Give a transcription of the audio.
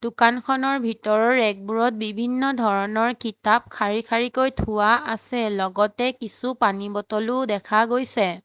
দোকানখনৰ ভিতৰৰ ৰেক বোৰত বিভিন্ন ধৰণৰ কিতাপ শাৰী শাৰীকৈ থোৱা আছে লগতে কিছু পানী বটল ও দেখা গৈছে।